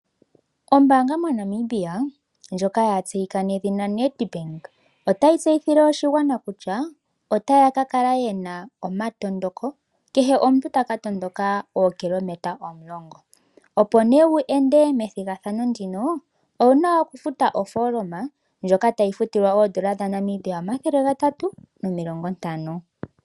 Ombaanga moNamibia ndjoka ya tseyika nedhina Nedbank otayi tseyithile oshigwana kutya otaya ka kala yena omatondoko kehe omuntu taka tondoka ookilometa omulongo, opo nee wu endele me thigathano ndino owuna okufuta ofooloma ndjoka tayi futilwa oondola dhaNamibia omathele gatatu nomilongo ntano.